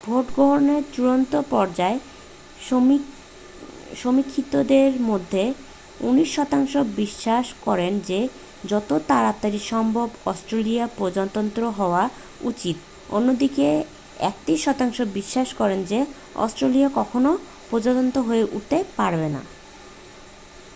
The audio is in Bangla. ভোটগ্রহনের চূড়ান্ত পর্যায়ে সমীক্ষিতদের মধ্যে 29 শতাংশ বিশ্বাস করেন যে যত তাড়াতাড়ি সম্ভব অস্ট্রেলিয়ার প্রজাতন্ত্র হওয়া উচিত অন্যদিকে 31 শতাংশ বিশ্বাস করেন যে অস্ট্রেলিয়া কখনও প্রজাতন্ত্র হয়ে উঠতে পারবে না